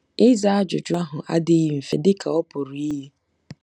Ịza ajụjụ ahụ adịghị mfe dị ka ọ pụrụ iyi.